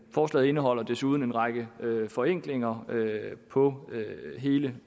forslaget indeholder desuden en række forenklinger på hele